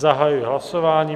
Zahajuji hlasování.